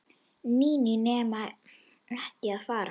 Nína nenni ekki að fara.